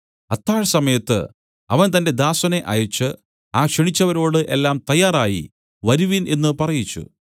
അത്താഴസമയത്ത് അവൻ തന്റെ ദാസനെ അയച്ച് ആ ക്ഷണിച്ചവരോട് എല്ലാം തയ്യാറായി വരുവിൻ എന്നു പറയിച്ചു